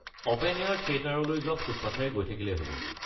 Open air থিয়েটাৰলৈ যোৱা ফুটপাথেৰে গৈ থাকিলেই হ’ব।